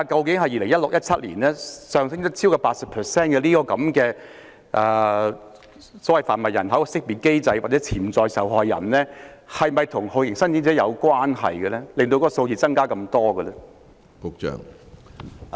在2017年，在販運人口受害人識別機制下，接受識別的潛在受害人較2016年上升超過 80%， 這是否與酷刑聲請者大增有關？